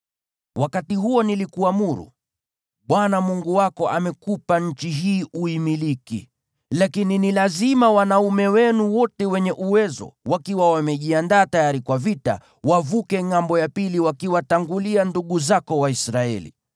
Wakati huo nilikuamuru: “ Bwana Mungu wako amekupa nchi hii uimiliki. Lakini ni lazima wanaume wenu wote wenye uwezo, wakiwa wamejiandaa tayari kwa vita, wavuke ngʼambo wakiwatangulia ndugu zako Waisraeli.